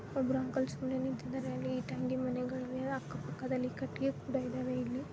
ಒಬ್ರು ಅಂಕಲ್ ಸುಮ್ನೆ ನಿಂತಿದರೆ ಅಲ್ಲಿ ಇಟ್ಟಂಗಿ ಮನೆಗಳಿವೆ ಅಕ್ಕಪಕ್ಕದಲ್ಲಿ ಕಟ್ಟಿಗೆಗಳೂ ಕೂಡ ಇದಾವೆ ಇಲ್ಲಿ